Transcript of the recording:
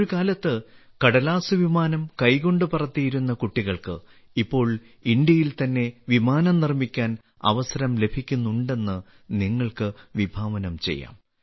ഒരു കാലത്ത് കടലാസ് വിമാനം കൈകൊണ്ട് പറത്തിയിരുന്ന കുട്ടികൾക്ക് ഇപ്പോൾ ഇന്ത്യയിൽ തന്നെ വിമാനം നിർമ്മിക്കാൻ അവസരം ലഭിക്കുന്നുണ്ടെന്ന് നിങ്ങൾക്ക് വിഭാവനം ചെയ്യാം